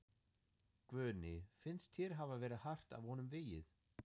Guðný: Finnst þér hafa verið hart af honum vegið?